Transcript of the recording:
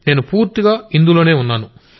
నేను పూర్తిగా ఇందులోనే ఉన్నాను